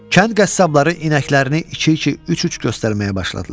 Kənd qəssabları inəklərini iki-iki, üç-üç göstərməyə başladılar.